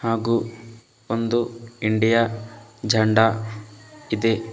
ಹಾಗು ಒಂದು ಇಂಡಿಯಾ ಜೆಂಡಾ ಇದೆ.